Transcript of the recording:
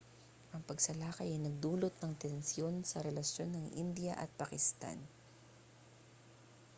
ang pagsalakay ay nagdulot ng tensiyon sa relasyon ng india at pakistan